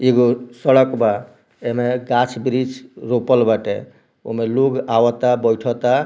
एगो सड़क बा ऐमे गाछ-बृछ रोपल बाटे ओमें लोग अवता बैठोता।